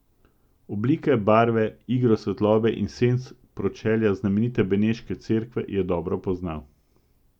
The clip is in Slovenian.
Oblike, barve, igro svetlobe in senc pročelja znamenite beneške cerkve je dobro poznal.